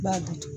I b'a dusu